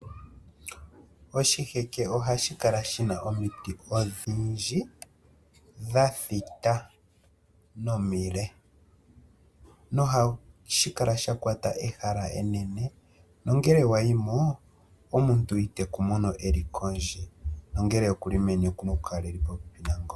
Oshiheke ohashi kala shina omiti odhindji dha thita nomile, nohashi kala sha kwata ehala enene nongele wa yimo omuntu ite ku mono e li kondje nongele okuli meni okuna oka kala e li popepi nangoye.